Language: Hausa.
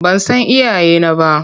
Ban san iyayena ba.